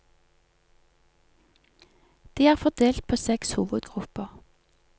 De er fordelt på seks hovedgrupper.